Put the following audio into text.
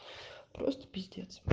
просто пиздец